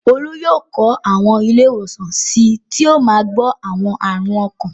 Olú yóò kọ́ àwọn ilé-ìwòsàn sí i tí yóò máa gbọ̀ àwọn àrùn ọkàn.